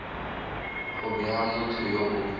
go bega motho yo o